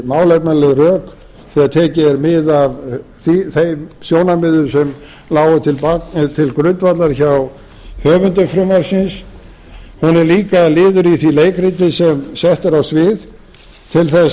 málefnaleg rök þegar tekið er mið af þeim sjónarmiðum sem lágu til grundvallar hjá höfundum frumvarpsins hún er líka liður í því leikriti sem sett er á svið til þess